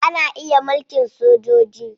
Ana iya mulkin sojoji.